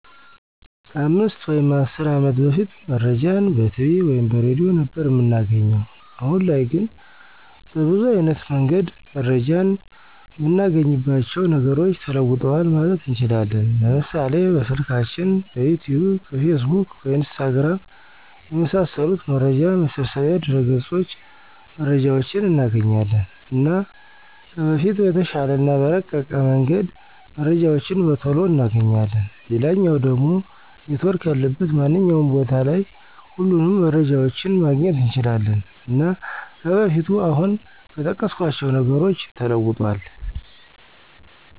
ከ 5 ወይም 10 አመት በፊት መረጃን በቲቪ ወይም በሬድዮ ነበር እምናገኘዉ። አሁን ላይ ግን በብዙ አይነት መንገድ መረጃን እምናገኝባቸዉ ነገሮች ተለዉጠዋል ማለት እንችላለን፤ ለምሳሌ፦ በስልካችን፣ በዩቱዩብ፣ በፌስቡክ፣ በኢንስታግራም፣ የመሳሰሉት መረጃ መሰብሰቢያ ድረገፆች መረጃዎችን እናገኛለን። እና ከበፊቱ በተሻለ እና በረቀቀ መንገድ መረጃዎችን በቶሎ እናገኛለን፣ ሌላኛዉ ደሞ ኔትዎርክ ያለበት ማንኛዉም ቦታ ላይ ሁሉንም መረጃዎችን ማግኘት እንችላለን። እና ከበፊቱ አሁን በጠቀስኳቸዉ ነገሮች ተለዉጧል።